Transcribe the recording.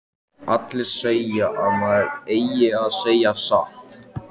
Allir segja að maður eigi að segja satt.